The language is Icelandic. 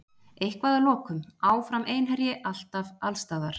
Eitthvað að lokum: Áfram Einherji, alltaf, allsstaðar.